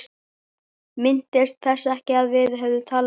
Minntist þess ekki að við hefðum talað um það.